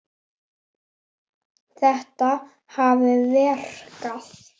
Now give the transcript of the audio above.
Þetta hafi verkað.